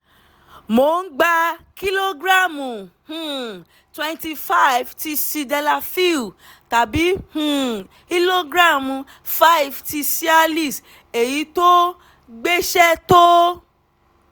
mo ń gba kílógíráàmù um twenty five ti sildenafil tàbí um ìlógíráàmù five ti cialis èyí tó gbéṣẹ́ tó